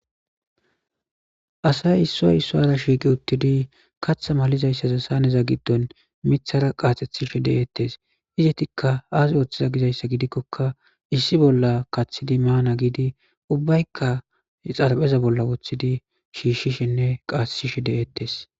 Asay issoy isso ara shiiqi uttidi katha malizayssaza saneza giddon mithara qaaxethishe de'eettes izetikka aas ooththiza gizayssa gidikkoka issi bolla kaththidi maana giidi ubbaykka xarapheza bolla woththidi shiishshishenne qaaesishe de'eettes